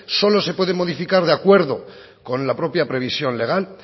solo se pueden modificar de acuerdo con la propia previsión legal